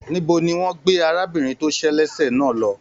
Níbo ní wọn gbé arábìnrin to se lese náà lọ?